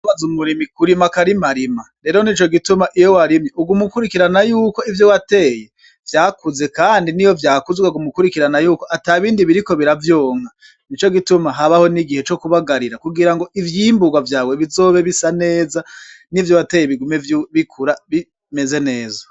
Birababaz'umurimyi kurima ukarimarima ,rero nico gituma iyo warimye uguma ukurikirana yuko ivyo wateye vyakuze ,kandi niyo vyakuze ukaguma ukurikirana yuko atabindi biriko biravyonka nico gituma habaho n'igihe cokubagarira kugirango ivyimburwa vyawe bizobe bisa neza, nivyo wateye bigume bikura bimeze neza.